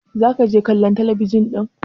za ka je kallon talabijin din!